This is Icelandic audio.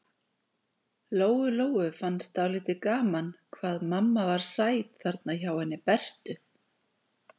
Lóu-Lóu fannst dálítið gaman hvað mamma var sæt þarna hjá henni Bertu.